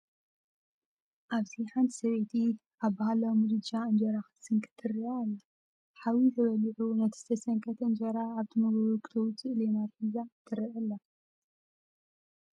ኣብዚ ሓንቲ ሰበይቲ ኣብ ባህላዊ ምድጃ እንጀራ ክትስንክት ትርአ ኣላ። ሓዊ ተወሊዑ ነቲ ዝተሰንከተ እንጀራ ካብቲ ሞጎጎ ክተውፅኦ ሌማታ ሒዛ ትርአ ኣላ።